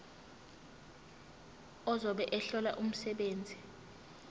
ozobe ehlola umsebenzi